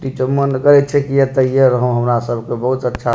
इ ते मन करे छै की एतेइये रहो हमरा सबके।